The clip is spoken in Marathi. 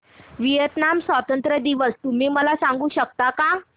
व्हिएतनाम स्वतंत्रता दिवस तुम्ही मला सांगू शकता का